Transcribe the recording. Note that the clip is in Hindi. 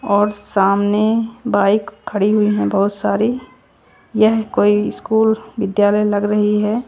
और सामने बाइक खड़ी हुई है बहोत सारी यह कोई स्कूल विद्यालय लग रही है।